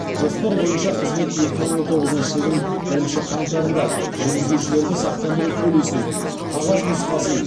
жоспар бойынша қызмет екі мың он тоғызыншы жылдың бірінші қаңтарында жүргізушілерді сақтандыру полисінің қағаз нұсқасын